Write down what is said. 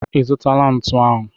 Ị zụtala ntu ahụ?